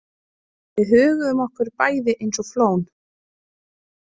Við höguðum okkur bæði einsog flón.